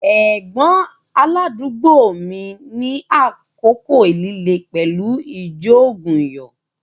Ẹ̀gbọ́n aládùúgbò mi ní àkókò líle pẹ̀lú ìjoògùnyó